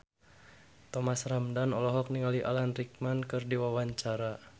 Thomas Ramdhan olohok ningali Alan Rickman keur diwawancara